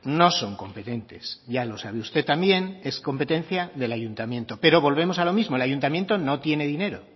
no son competentes ya lo sabe usted también es competencia del ayuntamiento pero volvemos a lo mismo el ayuntamiento no tiene dinero